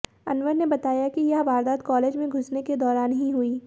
अनवर ने बताया कि यह वारदात कॉलेज में घुसने के दौरान ही हुई